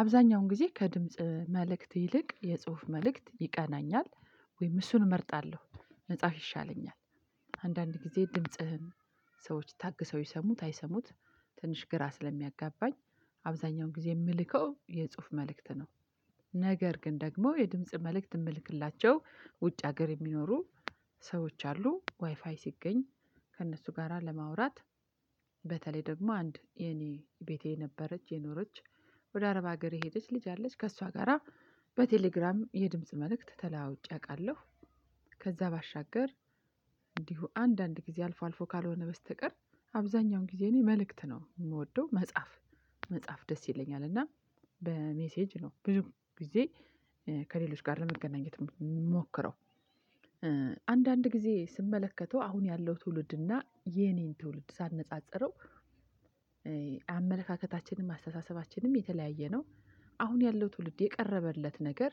አብዛኛውን ጊዜ ከድምጽ መልእክት ይልቅ የጽሁፍ መልእክት ይቀናኛል ወይም እሱን እመርጣለሁ መጻፍ ይሻለኛል። አንዳንድ ጊዜ ድምጽህን ሰዎች ታግሰው ይሰሙት አይሰሙት ትንሽ ግራ ስለሚያጋባኝ። አብዛኛውን ጊዜ የምልከው የጽሁፍ መልእክት ነው። ነገር ግን ደግሞ የድምጽ መልእክት የምልክላቸው ውጭ ሀገር የሚኖሩ ሰዎች አሉ ዋይፋይ ሲገኝ ከእነሱ ጋራ ለማውራት። በተለይ ደግሞ አንድ የኔ ቤቴ የነበረች የኖረች ወደ አረብ ሀገር የሄደች ልጅ አለች ከእሷ ጋራ በቴሌግራም የድምጽ መልእክት ተለዋውጭ አውቃለሁ። ከዛ ባሻገር። እንዲሁ አንዳንድ ጊዜ አልፎ አልፎ ካልሆነ በስተቀር አብዛኛውን ጊዜ እኔ መልእክት ነው የምወደው መጻፍ። መጻፍ ደስ ይለኛል እና በሜሴጅ ነው ብዙ ጊዜ። ከሌሎች ጋር ለመገናኘት ሞክረው አንዳንድ ጊዜ ስመለከተው አሁን ያለው ትውልድና የኔን ትውልድ ሳነጻጽረው። አመለካከታችንን አስተሳሰባችንንም የተለያየ ነው። አሁን ያለው ትውልድ የቀረበለት ነገር።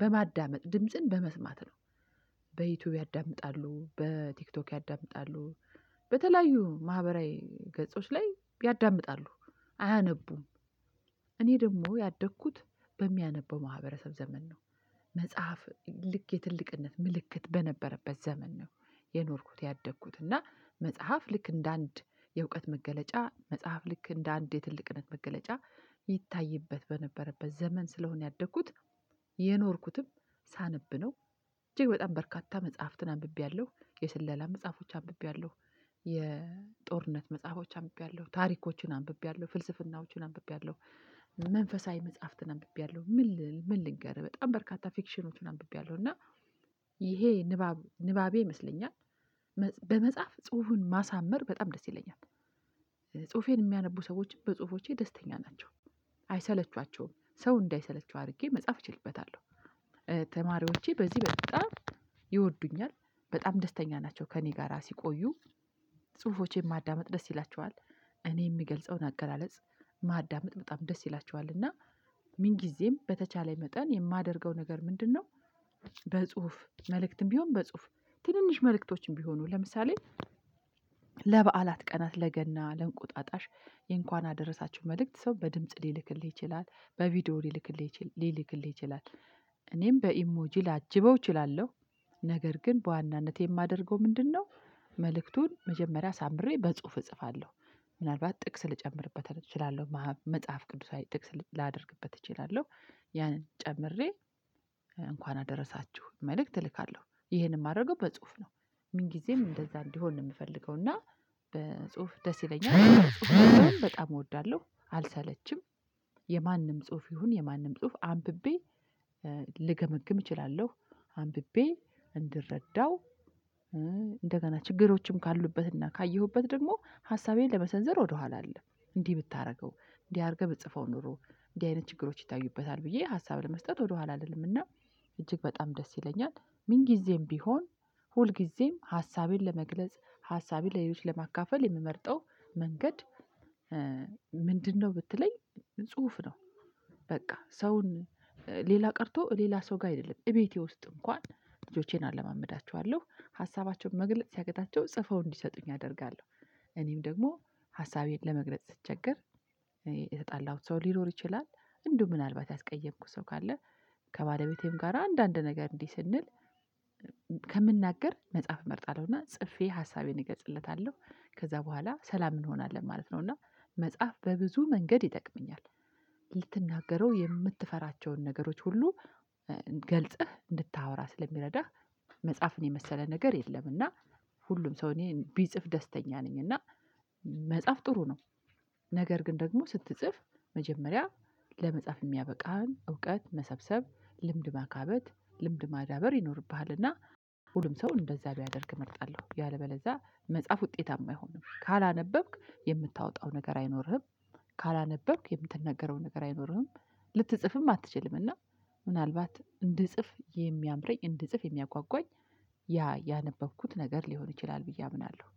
በማዳመጥ ድምጽን በመስማት ነው። በዩቲዩብ ያዳምጣሉ በቲክቶክ ያዳምጣሉ በተለያዩ ማህበራዊ ገጾች ላይ ያዳምጣሉ አያነቡም። እኔ ደግሞ ያደግኩት በሚያነበው ማህበረሰብ ዘመን ነው። መጽሐፍ ልክ የትልቅነት ምልክት በነበረበት ዘመን ነው። የኖርኩት ያደግኩት እና መጽሐፍ ልክ እንደ አንድ የእውቀት መገለጫ መጽሐፍ ልክ እንደ አንድ የትልቅነት መገለጫ። ይታይበት በነበረበት ዘመን ስለሆነ ያደግኩት የኖርኩትም ሳነብ ነው። እጅግ በጣም በርካታ መጽሐፍትን አንብቤያለሁ የስለላ መጽሐፎች አንብቤያለሁ። የጦርነት መጽሐፎች አምቢያለሁ ታሪኮችን አንብቤያለሁ ፍልስፍናዎችን አንብቤያለሁ። መንፈሳዊ መጽሐፍትን አንብቤያለሁ። ምን ልንገርህ በጣም በርካታ ፊክሽኖችን አንብቤያለሁ እና ይሄ ንባብ ንባቤ ይመስለኛል። በመጽሐፍ ጽሁፉን ማሳመር በጣም ደስ ይለኛል። ጽሁፌን የሚያነቡ ሰዎች በጽሁፎቼ ደስተኛ ናቸው አይሰለቹአቸውም ሰው እንዳይሰለቸው አድርጌ መጻፍ እችልበታለሁ። ተማሪዎቼ በዚህ በጣም ይወዱኛል በጣም ደስተኛ ናቸው ከእኔ ጋራ ሲቆዩ። ጽሁፎቼን ማዳመጥ ደስ ይላቸዋል። እኔ የምገልጸውን አገላለጽ ማዳመጥ በጣም ደስ ይላቸዋል እና ምን ጊዜም በተቻለ መጠን የማደርገው ነገር ምንድነው? በጽሁፍ መልእክትም ቢሆን በጽሁፍ ትንንሽ መልእክቶችም ቢሆኑ ለምሳሌ ለበዓላት ቀናት ለገና ለእንቁጣጣሽ የእንኳን አደረሳችሁ መልእክት ሰው በድምጽ ሊልክልህ ይችላል በቪዲዮ ሊልክልህ ይችላል። እኔም በኢሞጂ ላጅበው እችላለሁ። ነገር ግን በዋናነት የማደርገው ምንድነው መልእክቱን መጀመሪያ አሳምሬ በጽሁፍ እጽፋለሁ። ምናልባት ጥቅስ ልጨምርበት እችላለሁ መጽሐፍ ቅዱሳዊ ጥቅስ ላደርግበት እችላለሁ። ያንን ጨምሬ እንኳን አደረሳችሁ መልእክት እልካለሁ ይሄንን የማደርገው በጽሁፍ ነው። ምን ጊዜም እንደዛ እንዲሆን ነው የምፈልገው። እና በጽሁፍ ደስ ይለኛል ጽሁፍ በጣም እወዳለሁ አልሰለችም። የማንም ጽሁፍ ይሁን የማንም ጽሁፍ አንብቤ ልገምግም እችላለሁ። አንብቤ እንድረዳው እንደገና ችግሮችም ካሉበትና ካየሁበት ደግሞ ሀሳቤን ለመሰንዘር ወደኋላ አልልም። እንዲህ ብታደርገው እንዲህ አድርገህ ብትጽፈው ኖሮ እንዲህ አይነት ችግሮች ይታዩበታል ብዬ ሀሳብ ለመስጠት ወደኋላ አልልምና። እጅግ በጣም ደስ ይለኛል። ምን ጊዜም ቢሆን ሁል ጊዜም ሀሳቤን ለመግለጽ ሀሳቤን ለሌሎች ለማካፈል የምመርጠው መንገድ ምንድነው ብትለኝ? ጽሁፍ ነው። በቃ ሰውን ሌላ ቀርቶ ሌላ ሰው ጋር አይደለም እቤቴ ውስጥ እንኳን ልጆቼን አለማመዳቸዋለሁ ሀሳባቸውን መግለጽ ሲያቅታቸው ጽፈው እንዲሰጡኝ አደርጋለሁ። እኔም ደግሞ ሀሳቤን ለመግለጽ ስትቸገር የተጣላሁት ሰው ሊኖር ይችላል። እንዲሁ ምናልባት ያስቀየምኩት ሰው ካለ። ከባለቤቴም ጋር አንዳንድ ነገር እንዲህ ስንል ከምናገር መጽሐፍ እመርጣለሁና ጽፌ ሀሳቤን እገጽለታለሁ። ከዛ በኋላ ሰላም እንሆናለን ማለት ነው። እና መጽሐፍ በብዙ መንገድ ይጠቅመኛል። ልትናገረው የምትፈራቸውን ነገሮች ሁሉ ገልጸህ እንድታወራ ስለሚረዳህ። መጻፍን የመሰለ ነገር የለም እና። ሁሉም ሰው እኔ ቢጽፍ ደስተኛ ነኝ እና። መጻፍ ጥሩ ነው። ነገር ግን ደግሞ ስትጽፍ መጀመሪያ ለመጽሐፍ የሚያበቃህን እውቀት መሰብሰብ ልምድ ማካበት ልምድ ማዳበር ይኖርብሃልና። ሁሉም ሰው እንደዛ ቢያደርግ እመርጣለሁ ያለበለዚያ መጻፍ ውጤታማ አይሆንም ካላነበብክ የምታወጣው ነገር አይኖርህም። ካላነበብክ የምትነገረው ነገር አይኖርህም። ልትጽፍም አትችልምና ምናልባት እንድጽፍ የሚያምረኝ እንድጽፍ የሚያጓጓኝ። ያ ያነበብኩት ነገር ሊሆን ይችላል ብዬ አምናለሁ